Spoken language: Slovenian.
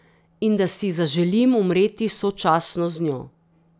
In da si zaželim umreti sočasno z njo.